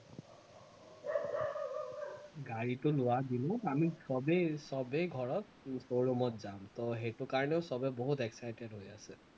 গাড়ীটো লোৱা দিনত আমি সৱেই সৱেই ঘৰত ত যাম তো সেইটো কাৰণেও সৱেই বহুত excited হৈ আছে